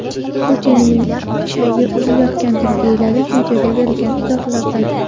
Putinning ichagi uzilayotgandir”, deyiladi videoga berilgan izohlarda.